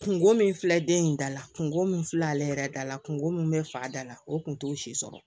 Kungo min filɛ den in dala kungo min filɛ ale yɛrɛ dala kungo min bɛ fa da la o kun t'o si sɔrɔ